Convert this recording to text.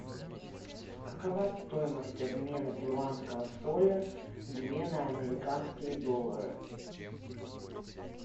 какова стоимость обмена перуанского соля две на американские доллары